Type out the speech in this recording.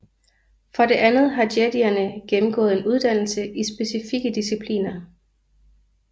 For det andet har jedierne gennemgået en uddannelse i specifikke discipliner